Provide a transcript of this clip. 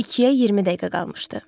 İkiyə 20 dəqiqə qalmışdı.